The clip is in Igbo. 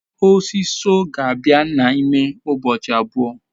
osiso ga-abia na ime ubochi abuo